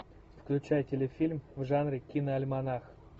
включай телефильм в жанре киноальманах